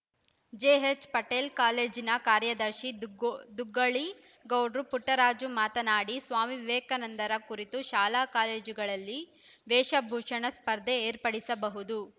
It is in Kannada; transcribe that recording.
ಜೆಎಚ್‌ಪಟೇಲ್‌ ಕಾಲೇಜಿನ ಕಾರ್ಯದರ್ಶಿ ದುಗ್ಗ ದೂಗೊಳ್ಳಿ ಗೌಡ್ರು ಪುಟ್ಟರಾಜು ಮಾತನಾಡಿ ಸ್ವಾಮಿ ವಿವೇಕಾನಂದರ ಕುರಿತು ಶಾಲಾಕಾಲೇಜುಗಳಲ್ಲಿ ವೇಷಭೂಷಣ ಸ್ಪರ್ಧೆ ಏರ್ಪಡಿಸಬಹುದು